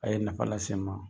A' ye nafa lase n ma.